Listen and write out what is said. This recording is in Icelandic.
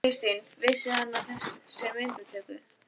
Kristinn: Vissi hann af þessi myndatöku?